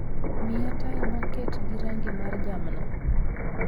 Miya taya maket gi rangi mar jamna